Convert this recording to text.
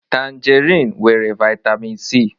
Tanjerịn nwere vitamịn Si.